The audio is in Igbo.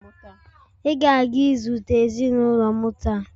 Ị ga-aga izute ezinụlọ m taa!